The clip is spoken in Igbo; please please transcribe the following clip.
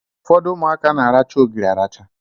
Ụfọdụ ụmụaka na aracha ogiri aracha.